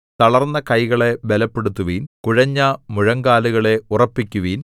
തളർന്ന കൈകളെ ബലപ്പെടുത്തുവിൻ കുഴഞ്ഞ മുഴങ്കാലുകളെ ഉറപ്പിക്കുവിൻ